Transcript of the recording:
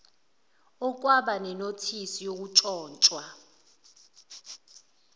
okwaba nenothisi yokuntshontshwa